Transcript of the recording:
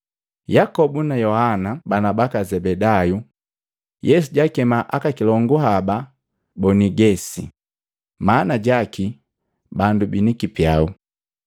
Yakobu na Yohana bana baka Zebedayu Yesu jaakema aka kilongu haba Bonigesi, maana jaki, “Bandu bini kipyau,”